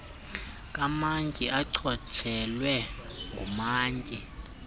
kamantyi echotshelwe ngumantyi